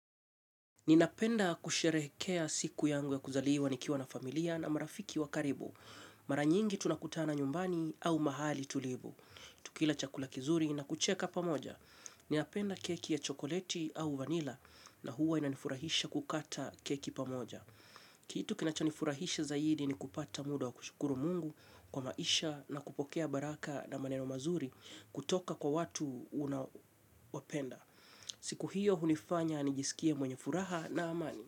Ninapenda kusherehekea siku yangu ya kuzaliwa nikiwa na familia na marafiki wa karibu. Mara nyingi tunakutana nyumbani au mahali tulivu. Tukila chakula kizuri na kucheka pamoja. Ninapenda keki ya chokoleti au vanila na huwa inanifurahisha kukata keki pamoja. Kitu kinachonifurahisha zaidi ni kupata muda wa kushukuru mungu kwa maisha na kupokea baraka na maneno mazuri kutoka kwa watu unaowapenda. Siku hiyo hunifanya nijisikie mwenye furaha na amani.